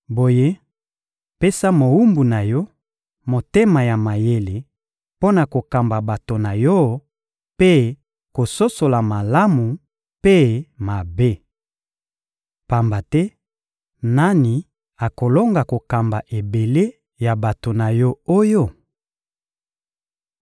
Boye, pesa na mowumbu na Yo motema ya mayele mpo na kokamba bato na Yo mpe kososola malamu mpe mabe. Pamba te, nani akolonga kokamba ebele ya bato na Yo oyo?